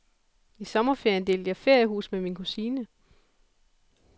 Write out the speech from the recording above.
I sommerferien delte jeg feriehus med min kusine.